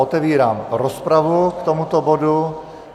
Otevírám rozpravu k tomuto bodu.